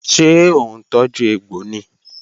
Ṣé òun tọ́jú egbò ni?